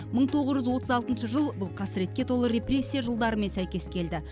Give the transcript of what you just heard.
мың тоғыз жүз отыз алтыншы жыл бұл қасіретке толы репрессия жылдарымен сәйкес келді